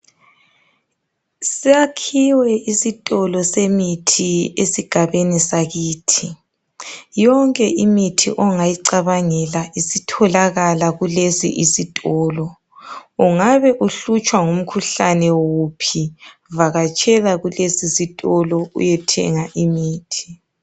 Siyakhiwe isitolo semithi esigabeni sakithi. Yonke imithi ongayicabangela isitholakala kulesi isitolo. Ungabe uhlutshwa ngumkhuhlane wuphi, vakatshela kulesi isitolo uyethenga imithi.